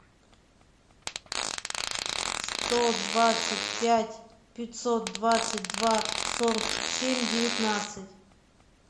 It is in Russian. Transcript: сто двадцать пять пятьсот двадцать два сорок семь девятнадцать